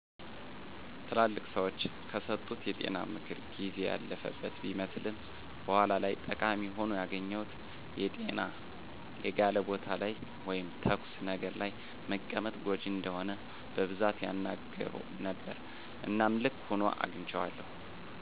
ትላልቅ ሰዎች ከሰጡት የጤና ምክር ጊዜ ያለፈበት ቢመስልም በኋላ ላይ ጠቃሚ ሆኖ ያገኘሁት የጤና የጋለ ቦታ ላይ ወይም ተኩስ ነገር ለይ መቀመጥ ጎጅ እንደሆነ በቡዛት ያናገሩ ነበረ እናም ልክ ሁኖ አግንቸዋለዉ።